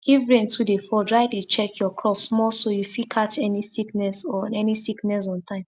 if rain too dey fall try dey check your crops more so you fit catch any sickness on any sickness on time